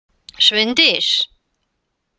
Sveindís